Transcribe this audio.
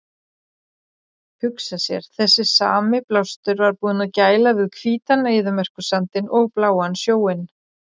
Hugsa sér, þessi sami blástur var búinn að gæla við hvítan eyðimerkursandinn og bláan sjóinn!